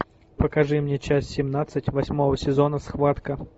покажи мне часть семнадцать восьмого сезона схватка